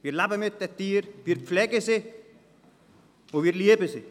Wir leben mit unseren Tieren, wir pflegen sie, und wir lieben sie.